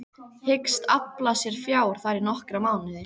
Hyggst afla sér fjár þar í nokkra mánuði.